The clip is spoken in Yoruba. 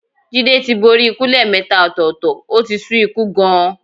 Jídé tí borí ikú lẹ́ẹ̀mẹta ọ̀tọ̀ọ̀tọ̀, ó ti sú ikú gan-an.